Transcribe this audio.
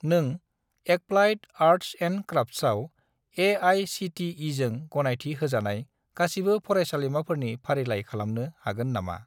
नों applied arts and क्राफ्टसआव ए.आइ.सि.टि.इ.जों गनायथि होजानाय गासिबो फरायसालिमाफोरनि फारिलाइ खालामनो हागोन नामा?